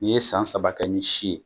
N'i ye san saba kɛ ni si ye.